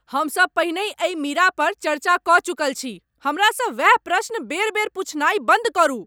हमसब पहिनेहि एहि मीरा पर चर्चा कऽ चुकल छी! हमरासँ वैह प्रश्न बेर बेर पुछनाइ बन्द करू।